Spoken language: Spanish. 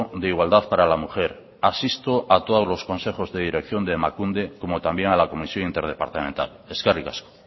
de igualdad para la mujer asisto a todos los consejos de dirección de emakunde como también a la comisión interdepartamental eskerrik asko